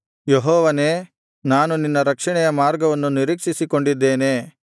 ಯೆಹೋವನೇ ನಾನು ನಿನ್ನ ರಕ್ಷಣೆಯ ಮಾರ್ಗವನ್ನು ನಿರೀಕ್ಷಿಸಿಕೊಂಡಿದ್ದೇನೆ